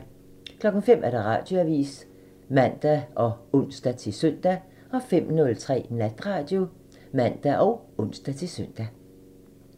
05:00: Radioavisen (man og ons-søn) 05:03: Natradio (man og ons-søn)